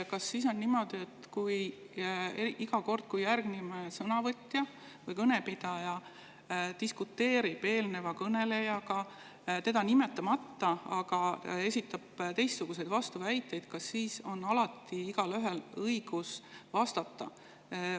Kas iga kord, kui sõnavõtja või kõnepidaja diskuteerib eelneva kõnelejaga teda nimetamata, aga esitab vastuväiteid, on igaühel õigus vastata?